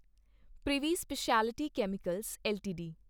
privy speciality chemicals LTD